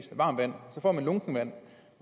varmt vand så får man lunkent vand